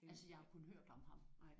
Altså jeg har kun hørt om ham